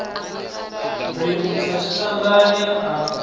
ri u tsa tshitandani a